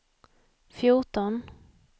fjorton